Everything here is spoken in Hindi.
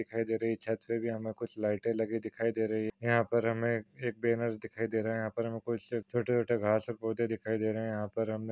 दिखाई दे रही छत पे भी हमे कुछ लाईटे लगी दिखाई दे रही है यहा पर हमे एक बॅनर दिखाई दे रहा है यहा पर हमें छोटे छोटे गहस और पौधे दिखाई दे रहे है यहा पर हमे --